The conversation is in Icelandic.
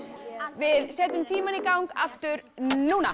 við setjum tímann í gang aftur núna